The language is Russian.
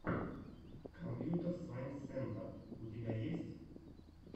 компьютэр сайнс сентэр у тебя есть